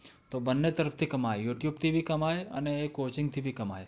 તો બંને તરફથી કમાઈ, youtube થી ભી કમાઈ અને coaching થી ભી કમાઈ.